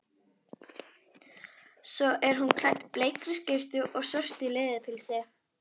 Svo er hún klædd bleikri skyrtu og svörtu leðurpilsi.